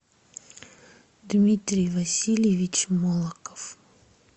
дмитрий васильевич молоков